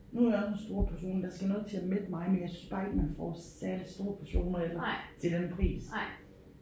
Nu er jeg også en stor person der skal noget til at mætte mig men jeg synes bare ikke man får særlig store portioner heller til den pris